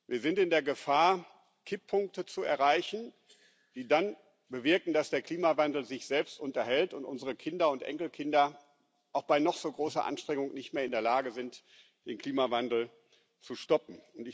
Wir sind in der Gefahr, Kipppunkte zu erreichen, die dann bewirken, dass der Klimawandel sich selbst unterhält und unsere Kinder und Enkelkinder auch bei noch so großer Anstrengung nicht mehr in der Lage sind, den Klimawandel zu stoppen.